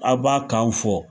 Aw b'a kan fɔ.